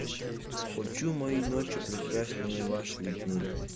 хочу мои ночи прекраснее ваших дней